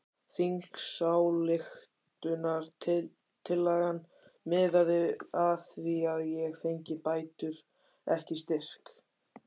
Þingsályktunartillagan miðaði að því að ég fengi bætur ekki styrk!